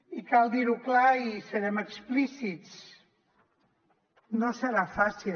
i cal dir ho clar i serem explícits no serà fàcil